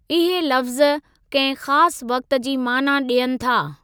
इहे लफ़्ज़ कंहिं ख़ासि वक़्ति जी माना ॾियनि था।